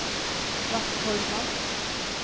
Vattholma